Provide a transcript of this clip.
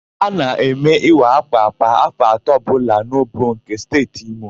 A na-eme ịwa ákwà kwa áfọ̀ atọ ọbụla n'Obowo nke Steeti Imo.